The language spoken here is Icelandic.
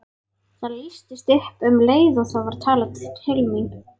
Það lýstist upp og um leið var talað til mín.